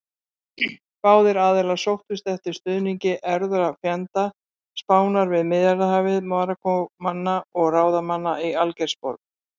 Báðir aðilar sóttust eftir stuðningi erfðafjenda Spánar við Miðjarðarhafið: Marokkómanna og ráðamanna í Algeirsborg.